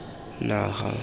naga